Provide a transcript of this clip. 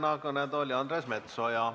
Palun järgmisena kõnetooli Andres Metsoja.